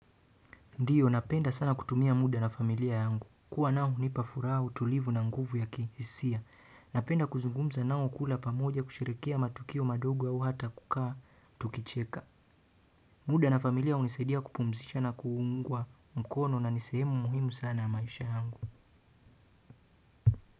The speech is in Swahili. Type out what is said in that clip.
Ndiyo napenda sana kutumia muda na familia yangu. Kuwa nao hunipa furaha, utulivu na nguvu ya kihisia. Napenda kuzungumza nao, kula pamoja, kushirikia matukio madogo au hata kukaa tukicheka. Muda na familia hunisaidia kupumzisha na kuungwa mkono na nisehemu muhimu sana maisha yangu.